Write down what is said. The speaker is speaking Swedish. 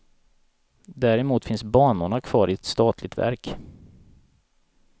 Däremot finns banorna kvar i ett statligt verk.